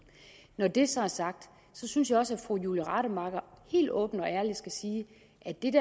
når det så er sagt synes jeg også at fru julie rademacher helt åbent og ærligt skal sige